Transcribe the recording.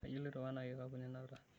Kajo iloito weinakikapu ninapita.